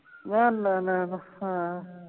।